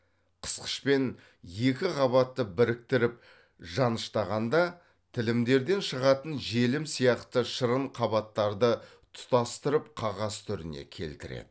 қысқышпен екі қабатты біріктіріп жаныштағанда тілімдерден шығатын желім сияқты шырын қабаттарды тұтастырып қағаз түріне келтіреді